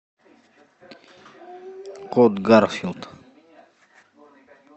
кот гарфилд